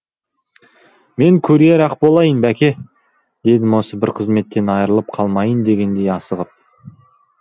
мен курьер ақ болайын бәке дедім осы бар қызметтен айырылып қалмайын дегендей асығып